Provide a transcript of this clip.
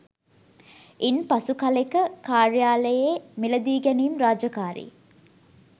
ඉන් පසු කලෙක කාර්යාලයේ මිලදීගැනීම් රාජකාරී